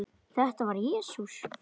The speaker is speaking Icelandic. Þetta var Jesús